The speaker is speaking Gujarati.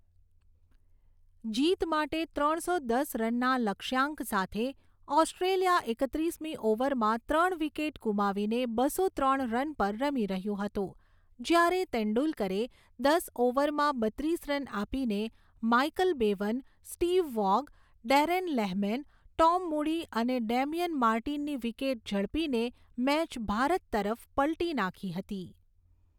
જીત માટે ત્રણસો દસ રનના લક્ષ્યાંક સાથે, ઑસ્ટ્રેલિયા એકત્રીસમી ઓવરમાં ત્રણ વિકેટ ગુમાવીને બસો ત્રણ રન પર રમી રહ્યું હતું જ્યારે તેંડુલકરે દસ ઓવરમાં બત્રીસ રન આપીને Michael Bevan, Steve Waugh, Darren Lehmann, Tom Moody અને ડેમિયન માર્ટિનની વિકેટ ઝડપીને મેચ ભારત તરફ પલટી નાખી હતી.